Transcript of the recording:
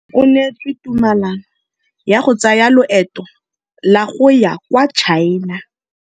O neetswe tumalanô ya go tsaya loetô la go ya kwa China.